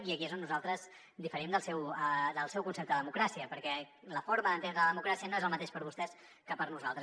i aquí és on nosaltres diferim del seu concepte de democràcia perquè la forma d’entendre la democràcia no és el mateix per a vostès que per a nosaltres